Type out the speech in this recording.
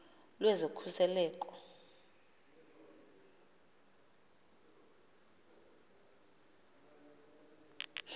lwezokhuseleko